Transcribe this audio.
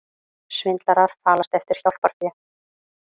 Svindlarar falast eftir hjálparfé